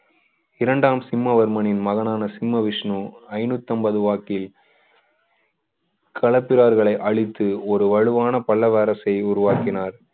இரண்டாம் சிம்மவர்மனின் மகனான சிம்ம விஷ்ணு ஐநூத்தைம்பது வாக்கில் களப்பிரர்களை அழித்து ஒரு வலுவான பல்லாவரசை உருவாக்கினார்